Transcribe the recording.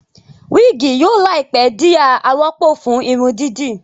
wigi yóò láìpé dì a àròpọ̀ fún Irun dídì